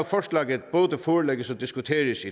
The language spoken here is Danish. forslaget forelægges og diskuteres